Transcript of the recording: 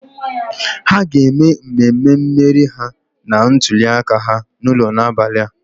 Ha ga-eme mmemme mmeri ha na ntuliaka ha n'ụlọ n'abalị a.